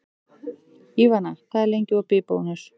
Ívana, hvað er lengi opið í Bónus?